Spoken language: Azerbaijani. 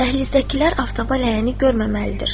Dəhlizdəkilər aftaba ləyəni görməməlidir.